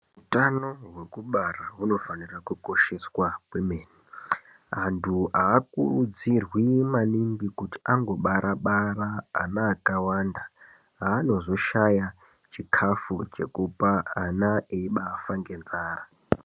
Utano hwekubara hunofanira kukosheswa kwemene .Antu haakurudzirwi maningi kuti angobara bara ana akawanda aanozoshaya chikafu chekupa ana eibafa ngenzara.